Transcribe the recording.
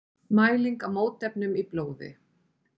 Mæling á mótefnum í blóði.